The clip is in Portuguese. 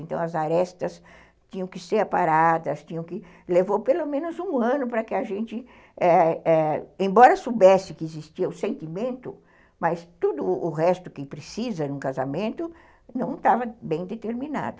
Então, as arestas tinham que ser aparadas, tinham que, levou pelo menos um ano para que a gente, embora soubesse que existia o sentimento, mas tudo o resto que precisa em um casamento não estava bem determinado.